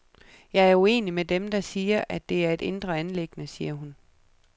Jeg er uenig med dem, der siger, at det er et indre anliggende, siger hun.